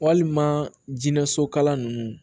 Walima jinɛ sokala ninnu